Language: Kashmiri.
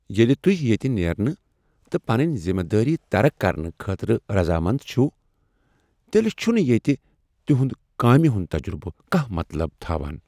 ییٚلہِ تہۍ ییٚتہ نیرنہٕ تہٕ پنٕنۍ ذمہٕ دٲری ترک کرنہٕ خٲطرٕ رضامند چھو، تیٚلہ چھنہٕ ییٚتہ تہنٛد کامہ ہنٛد تجربہٕ کانٛہہ مطلب تھاوان۔